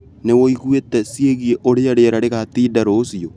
Nĩwĩiguĩte ciĩgiĩ ũrĩa rĩera rĩgatinda rũciũ?